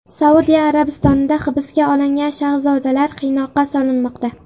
Saudiya Arabistonida hibsga olingan shahzodalar qiynoqqa solinmoqda.